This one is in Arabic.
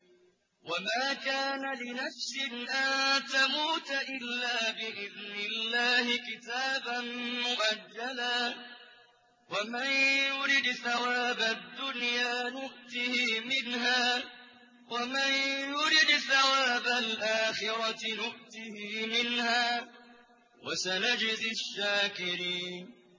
وَمَا كَانَ لِنَفْسٍ أَن تَمُوتَ إِلَّا بِإِذْنِ اللَّهِ كِتَابًا مُّؤَجَّلًا ۗ وَمَن يُرِدْ ثَوَابَ الدُّنْيَا نُؤْتِهِ مِنْهَا وَمَن يُرِدْ ثَوَابَ الْآخِرَةِ نُؤْتِهِ مِنْهَا ۚ وَسَنَجْزِي الشَّاكِرِينَ